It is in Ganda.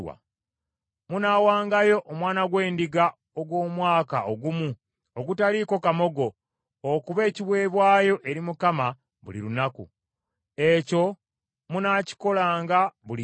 “ ‘Munaawangayo omwana gw’endiga ogw’omwaka ogumu ogutaliiko kamogo okuba ekiweebwayo eri Mukama buli lunaku; ekyo munaakikolanga buli nkya.